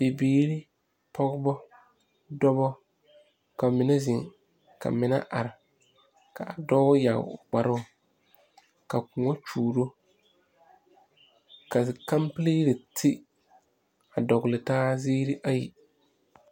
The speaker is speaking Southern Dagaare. Bibiiri pɔgebɔ dɔbɔ ka mine zeŋ ka mine are ka a dɔɔ yaa o kparoo ka kõɔ kyuuro ka kampili yiri ti a dɔgle taa ziiri ayi.